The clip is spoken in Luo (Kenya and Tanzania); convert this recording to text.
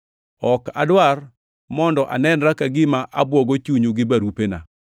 Ok adwar mondo anenra ka gima abwogo chunyu gi barupena.